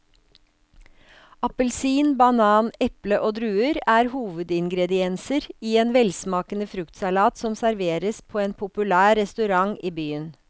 Appelsin, banan, eple og druer er hovedingredienser i en velsmakende fruktsalat som serveres på en populær restaurant i byen.